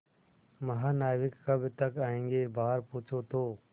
महानाविक कब तक आयेंगे बाहर पूछो तो